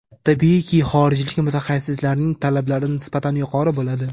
Tabiiyki, xorijlik mutaxassislarning talablari nisbatan yuqori bo‘ladi.